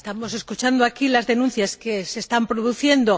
Estamos escuchando aquí las denuncias que se están produciendo.